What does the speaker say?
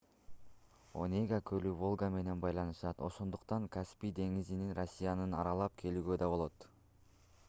онега көлү волга менен байланышат ошондуктан каспий деңизинен россияны аралап келүүгө да болот